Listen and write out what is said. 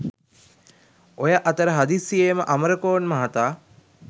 ඔය අතර හදිසියේම අමරකෝන් මහතා